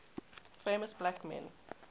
famous black men